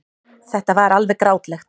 Þetta var alveg grátlegt.